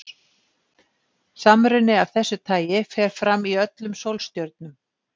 Samruni af þessu tagi fer fram í öllum sólstjörnum.